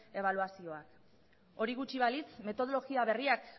ebaluazioak hori gutxi balitz metodologia berriak